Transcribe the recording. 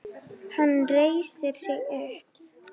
Hann reisir sig upp.